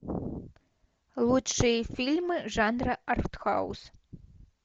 лучшие фильмы жанра артхаус